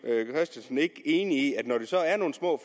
christensen ikke enig i at når der så er nogle små